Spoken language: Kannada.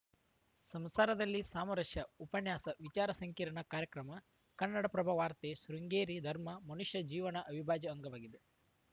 ಸಂಸಾರದಲ್ಲಿ ಸಾಮರಸ್ಯ ಉಪನ್ಯಾಸ ವಿಚಾರ ಸಂಕಿರಣ ಕಾರ್ಯಕ್ರಮ ಕನ್ನಡಪ್ರಭ ವಾರ್ತೆ ಶೃಂಗೇರಿ ಧರ್ಮ ಮನುಷ್ಯ ಜೀವನದ ಅವಿಭಾಜ್ಯ ಅಂಗವಾಗಿದೆ